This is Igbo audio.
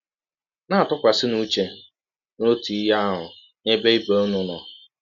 Na - atụkwasịnụ ụche n’ọtụ ihe ahụ n’ebe ibe ụnụ nọ. ”